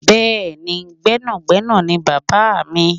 Bẹ́ẹ̀ni, gbẹ́nàgbẹ́nà ni Bàbá mi.